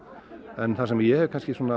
en það sem ég hef